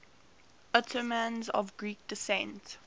ottomans of greek descent